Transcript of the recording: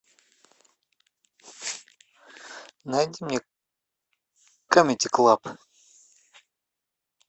найди мне камеди клаб